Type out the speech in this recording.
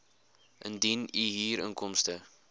indien u huurinkomste